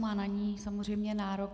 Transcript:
Má na ni samozřejmě nárok.